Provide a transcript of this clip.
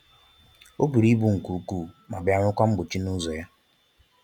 O buru ibu nke ukwuu ma bịa nwekwaa mgbochi n'ụzọ ya